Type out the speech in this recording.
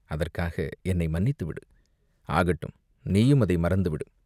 அதற்காக என்னை மன்னித்துவிடு!" "ஆகட்டும், நீயும் அதை மறந்துவிடு!